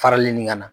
Farali nin ka na